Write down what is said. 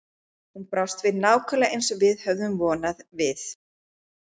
Hún brást við nákvæmlega eins og við höfðum vonað: Við